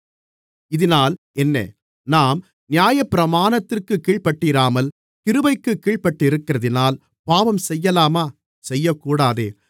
இதினால் என்ன நாம் நியாயப்பிரமாணத்திற்குக் கீழ்ப்பட்டிராமல் கிருபைக்குக் கீழ்ப்பட்டிருக்கிறதினால் பாவம் செய்யலாமா செய்யக்கூடாதே